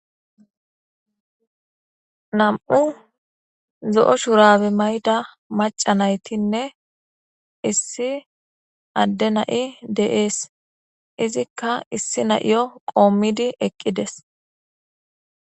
nam7u zo7o shurabe mayda macanaytinne issi adde na7i de7ees izikka issi na7iyo qoommidi eqqides